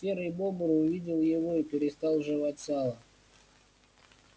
серый бобр увидел его и перестал жевать сало